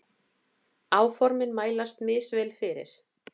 Áformin mælast misvel fyrir.